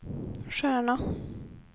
stjärna